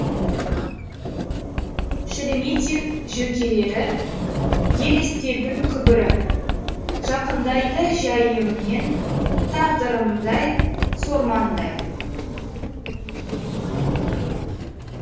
шереметьев жөкелері елестердің күбірі жақындайды жәйіменен тағдырымдай сормаңдай